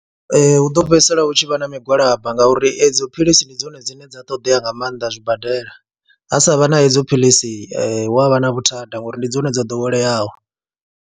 Ee, hu ḓo fhedzisela hu tshi vha na migwalabo ngauri edzo philisi ndi dzone dzine dza ṱoḓea nga maanḓa zwibadela, ha sa vha na edzo philisi hu a vha na vhuthada ngori ndi dzone dzo ḓoweleaho.